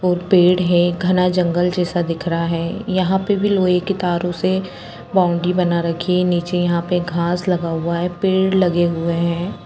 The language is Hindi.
बोहोत पैड है घना जंगल जैसा दिख रहा है यहा पे भी लोहे की तारों से बॉउन्ड्री बना रखी है नीचे यहां अ पे घास लगा हुआ है पेड़ लगे हुए है।